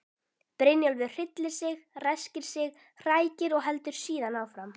Brynjólfur hryllir sig, ræskir sig, hrækir og heldur síðan áfram.